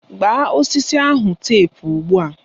Gbaa osisi ahụ tepu ugbua!